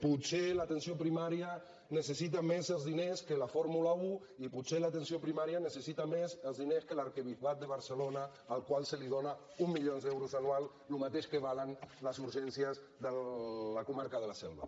potser l’atenció primària necessita més els diners que la fórmula un i potser l’atenció primària necessita més els diners que l’arquebisbat de barcelona al qual se li dóna un milió d’euros anuals el mateix que costen les urgències de la comarca de la selva